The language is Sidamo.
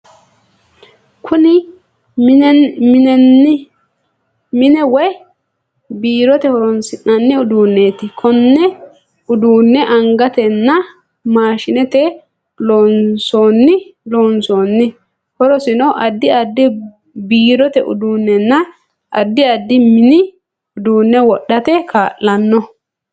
Kunni minne woyi biirote horoonsi'nanni uduuneeti. Konne uduune angatenna maashinete loonsoonni. Horosino addi addi biirote uduunenna addi addi minni uduune wodhate kaa'lanno.